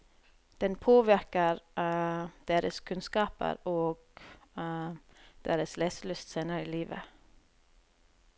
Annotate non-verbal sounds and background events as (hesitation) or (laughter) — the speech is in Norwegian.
Den påvirker (hesitation) deres kunnskaper og (hesitation) deres leselyst senere i livet.